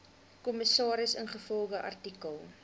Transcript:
kommissaris ingevolge artikel